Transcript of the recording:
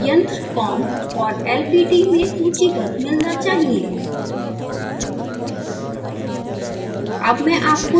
तो आपको यंत्र com और lpt में सूचीबद्ध मिलना चाहिए